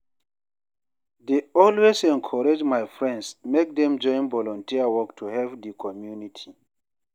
dey always encourage my friends make dem join volunteer work to help di community.